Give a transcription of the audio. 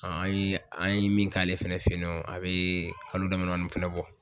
An ye an ye min k'ale fɛnɛ fɛ yen nɔ a bɛ kalo dama damani fɛnɛ bɔ